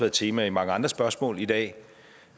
et tema i mange andre spørgsmål i dag